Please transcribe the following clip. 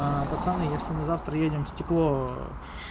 пацаны если мы завтра едем в стекло